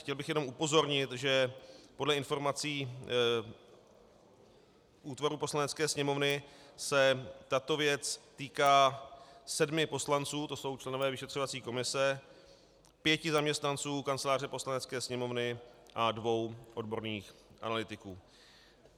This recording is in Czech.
Chtěl bych jenom upozornit, že podle informací útvaru Poslanecké sněmovny se tato věc týká sedmi poslanců, to jsou členové vyšetřovací komise, pěti zaměstnanců Kanceláře Poslanecké sněmovny a dvou odborných analytiků.